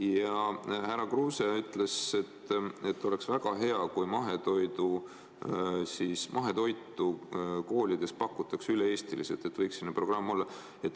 Ja härra Kruuse ütles, et oleks väga hea, kui mahetoitu koolides pakutakse üle-eestiliselt, et võiks selline programm olla.